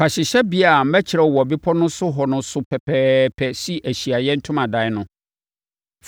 “Fa hyehyɛbea a mekyerɛɛ wo wɔ bepɔ no so hɔ no so pɛpɛɛpɛ si Ahyiaeɛ Ntomadan no.